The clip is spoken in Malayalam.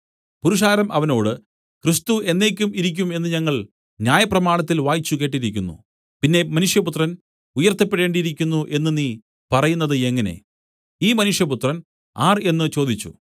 പുരുഷാരം അവനോട് ക്രിസ്തു എന്നേക്കും ഇരിക്കും എന്നു ഞങ്ങൾ ന്യായപ്രമാണത്തിൽ വായിച്ചുകേട്ടിരിക്കുന്നു പിന്നെ മനുഷ്യപുത്രൻ ഉയർത്തപ്പെടേണ്ടിയിരിക്കുന്നു എന്നു നീ പറയുന്നത് എങ്ങനെ ഈ മനുഷ്യപുത്രൻ ആർ എന്നു ചോദിച്ചു